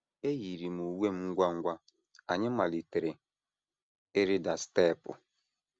Eyiiri m uwe m ngwa ngwa, anyị malitere ịrịda steepụ.